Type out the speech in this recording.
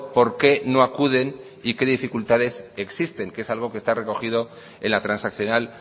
por qué no acuden y qué dificultades existen que es algo que está recogido en la transaccional